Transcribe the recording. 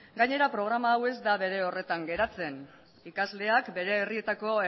gainera programa hau ez da bere horretan geratzen ikasleek bere herrietako